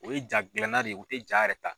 O ye jaa gilanna de ye u tɛ jaa yɛrɛ ta.